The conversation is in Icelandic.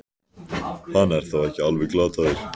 Hann er þá ekki alveg glataður!